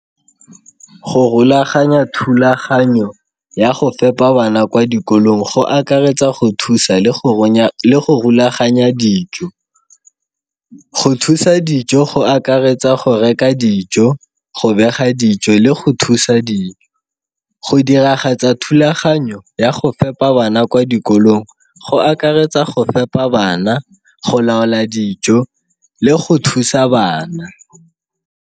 Go rulaganya thulaganyo ya go fepa bana kwa dikolong go akaretsa go thusa le go runya, le go rulaganya dijo. Go thusa dijo go akaretsa go reka dijo, go bega dijo le go thusa dijo. Go diragatsa thulaganyo ya go fepa bana kwa dikolong go akaretsa go fepa bana, go laola dijo le go thusa bana.